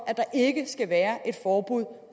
at der ikke skal være et forbud